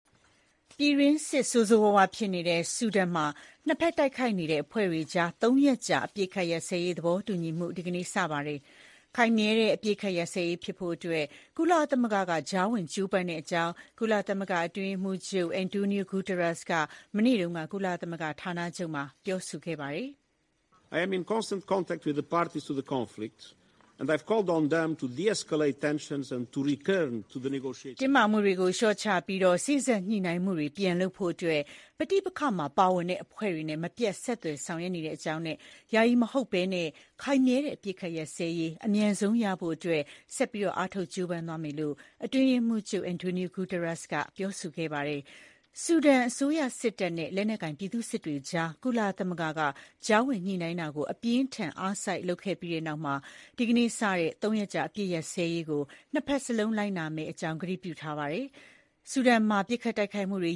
ပြည်တွင်းစစ် ဆိုးဆိုးရွားရွား ဖြစ်နေတဲ့ ဆူဒန်နိုင်ငံမှာ နှစ်ဘက် တိုက်ခိုက်နေတဲ့ အဖွဲ့တွေကြား ၃ ရက်ကြာ အပစ်အခတ် ရပ်စဲရေး သဘောတူညီမှု ဒီကနေ့ စတင်ပါတယ်။ ခိုင်မြဲတဲ့ အပစ်အခတ် ရပ်စဲရေးဖြစ်ဖို့ ကုလသမဂ္ဂ ကြားဝင် ကြိုးပမ်းနေတဲ့ အကြောင်း ကုလသမဂ္ဂ အတွင်းရေးမှူးချုပ် Antonio Guterres က မနေ့က ကုလသမဂ္ဂဌာနချုပ်မှာ ပြောဆိုသွားပါတယ်။ “တင်းမာမှုတွေ လျှော့ချပြီး စေ့စပ်ညှိနှိုင်းမှုတွေ ပြန်လုပ်ဖို့ အတွက် ပဋိပက္ခမှာပါဝင်တဲ့ အဖွဲ့တွေနဲ့ မပြတ် ဆက်သွယ် ဆောင်ရွက်နေပါတယ်။ ယာယီမဟုတ်ဘဲ၊ ခိုင်မြဲတဲ့ အပစ်အခတ် ရပ်စဲရေး အမြန်ဆုံး ရရှိဖို့ ကျနော်တို့ ဆက်ပြီး အားထုတ် ကြိုးပမ်းသွားပါမယ်” လို့ အတွင်းရေးမှူးချုပ် Antonio Guterres ကပြောဆိုသွားတာပါ။ ဆူဒန် အစိုးရစစ်တပ်နဲ့ လက်နက်ကိုင် ပြည်သူ့စစ်တွေကြား ကုလသမဂ္ဂက ကြားဝင် ညှိနှိုင်းမှုတွေ အပြင်းအထန် အားစိုက်လုပ်ခဲ့ရပြီးတဲ့နောက် ဒီကနေ့ စတင်တဲ့ ၃ ရက်ကြာ အပစ်ရပ်စဲရေးကို နှစ်ဘက်လုံးက လိုက်နာမယ့်အကြောင်း ကတိပြုထားပါတယ်။ ဆူဒန်နိုင်ငံမှာ ဒီလ ၁၅ ရက်နေ့က စလို့ တိုက်ခိုက်မှုတွေ